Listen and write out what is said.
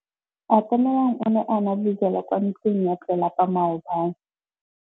Atamelang o ne a nwa bojwala kwa ntlong ya tlelapa maobane.